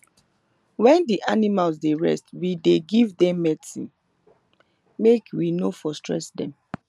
na wen the animals dey rest we dey give dem medicine made we for no stress dem